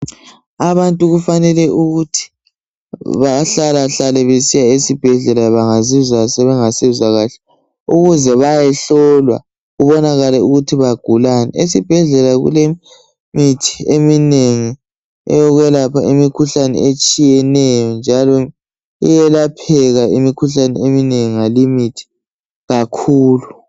Abantu kufanele ukuthi bahlalahlala besiya esibhedlela bengazizwa sebengasezwa kahle ukuze bayehlolwa kubonakale ukuthi bagulani. Esibhedlela kulemithi eminengi eyokwelapha imikhuhlane etshiyeneyo njalo iyelapheka imikhuhlane eminengi ngale imithi kakhulu.